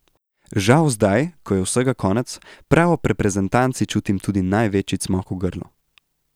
Žal zdaj, ko je vsega konec, prav ob reprezentanci čutim tudi največji cmok v grlu.